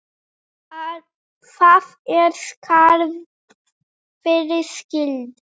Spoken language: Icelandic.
Þar er skarð fyrir skildi.